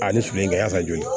A ni su min ka y'a ka joli ye